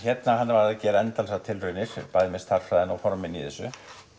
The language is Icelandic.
hann gerði endalausar tilraunir með stærðfræðina og formin í þessu